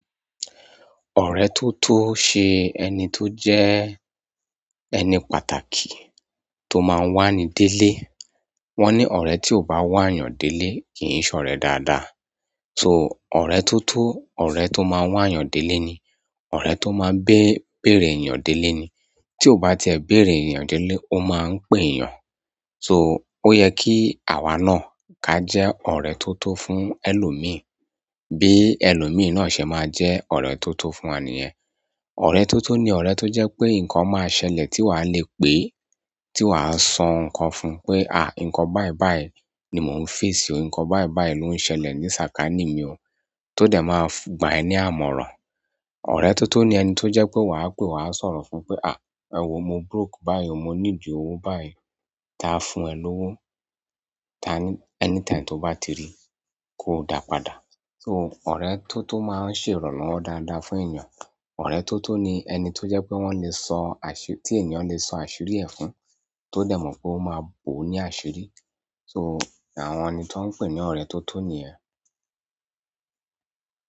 Ọ̀rẹ́ tó tó ṣe ẹni tó jẹ́ ẹni pàtàkì tó máa ń wà ní délé. Wọ́n ní ọ̀rẹ́ tí ò bá wà yàn délé kì í ṣọ̀rẹ́ dáadáa. So, ọ̀rẹ́ tó tó, ọ̀rẹ́ tó máa ń wà yàn délé ni, ọ̀rẹ́ tó máa ń béèrè èèyàn délé ni. Tí ó bá ti ẹ béèrè èèyàn délé, ó máa ń pè èèyàn. So, ó ye kí àwa náà ka jẹ́ ọ̀rẹ́ tó tó fún ẹlòmíì bí ẹlòmíì náà ṣe máa jẹ́ ọ̀rẹ́ tó tó fún wà níyẹn. Ọ̀rẹ́ tó tó ni ọ̀rẹ́ tó jẹ́ pé nǹkan máa ṣẹlẹ̀ tí wà á le pè é, tí wà á sọ nǹkan fún un pé, "à, nǹkan báì báì ni mò ń face o. Nǹkan báì báì ló ń ṣẹlẹ̀ ní sàkání mi o." Tó dẹ̀ máa gbà ẹ ní àmọ̀ràn. Ọ̀rẹ́ tó tó ni ẹni tó jẹ́ pé wà á pè wà á sọ̀rọ̀ fún pé, "à, ẹ wọ́ mo broke báyìí o. Mo ní ìdí òwò báyìí." Ta á fún ẹ lówó ta á-- anytime tó bá ti rí ko da padà. So, ọ̀rẹ́ tó tó máa ń ṣe ìrànlọ́wọ́ dáadáa fún èèyàn. Ọ̀rẹ́ toto ni ẹni ti jo pe wo le so asiri ti ènìyàn le so asiri e fún to de mo pe o ma bo ni asiri. So, àwọn ẹni tí wọ́n ń pè ní ọ̀rẹ́ tó tó ni yẹ́.